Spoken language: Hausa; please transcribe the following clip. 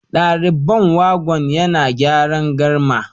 Direban wagon yana gyara garma